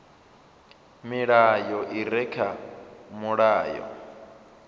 milayo i re kha mulayo